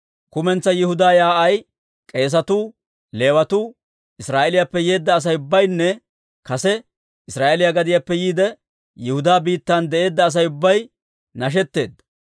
Kumentsaa Yihudaa yaa'ay, k'eesatuu, Leewatuu, Israa'eeliyaappe yeedda Asay ubbaynne kase Israa'eeliyaa gadiyaappe yiide, Yihudaa biittan de'eedda Asay ubbay nashetteedda.